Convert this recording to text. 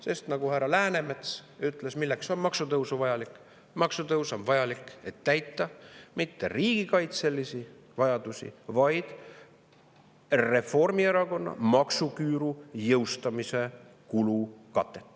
Sest nagu härra Läänemets ütles selle kohta, milleks on maksutõus vajalik: maksutõus ei ole vajalik mitte selleks, et täita riigikaitselisi vajadusi, vaid selleks, et tekitada Reformierakonna maksuküüru jõustamisele kulukatet.